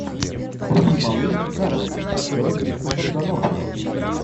вруби малыш и карлсон с актером винсентом д онофрио